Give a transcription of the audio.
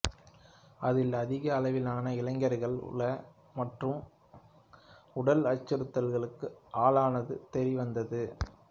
அதில் அதிக அளவிலான இளைஞர்கள் உள மற்றும் உடல் அச்சுறுத்தல்களுக்கு ஆளானது தெரியவந்தது